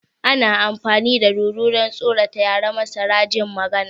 Ana amfani da dodo don tsorata yara marasa jin magana